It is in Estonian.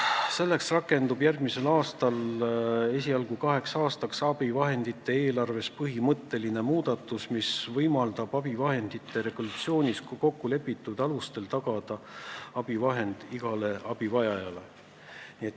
Selleks rakendub järgmisel aastal esialgu kaheks aastaks abivahendite eelarves põhimõtteline muudatus, mis võimaldab abivahendeid puudutavas regulatsioonis kokku lepitud alustel tagada abivahend igale abivajajale.